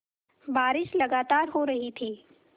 बारिश लगातार हो रही थी